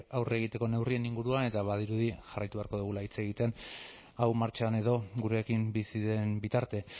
aurre egiteko neurrien inguruan eta badirudi jarraitu beharko dugula hitz egiten hau martxan edo gurekin bizi den bitarte